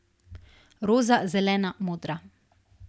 Roza, zelena, modra.